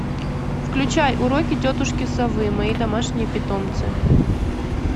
включай уроки тетушки совы мои домашние питомцы